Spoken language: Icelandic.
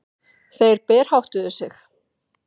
Þeir berháttuðu sig.